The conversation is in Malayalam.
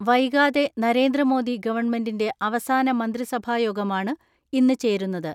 വൈകാതെ നരേന്ദ്രമോദി ഗവൺമെന്റിന്റെ അവസാന മന്ത്രിസഭായോഗ മാണ് ഇന്ന് ചേരുന്നത്.